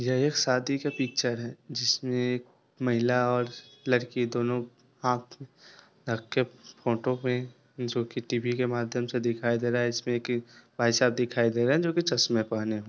यह एक शादी का पिक्चर हैं जिसमे महिला और लड़की दोनों हाथ रखके फोटो मैं जो की टी_वी के माध्यम से दिखाई दे रहा हैं | इसमें की भाईसाब दिखाई दे रहे हैं जो की चश्मे पहने हुए है।